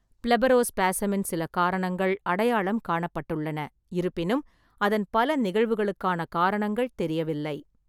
பிளெபரோஸ்பாஸமின் சில காரணங்கள் அடையாளம் காணப்பட்டுள்ளன; இருப்பினும், அதன் பல நிகழ்வுகளுக்கான காரணங்கள் தெரியவில்லை.